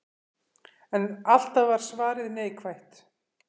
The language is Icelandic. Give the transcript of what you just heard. En alltaf var svarið neikvætt.